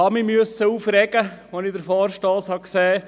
Ich musste mich einfach aufregen, als ich den Vorstoss sah.